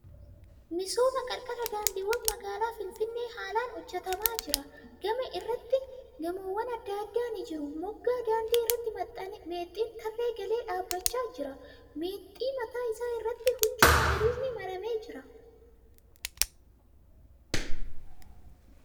Misooma qarqara daandiiwwan magaalaa Finfinnee haalaan hojjatamaa jira. Gama irratti gamoowwan adda addaa ni jiru. Moggaa daandii irratti meexxiin tarree galee dhaabachaa jira. Meexxii mataa isaa irratti huccuu magariisni maramee jira.